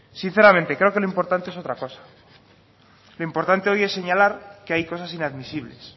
sinceramente creo que lo importante es otra cosa lo importante hoy es señalar que hay cosas inadmisibles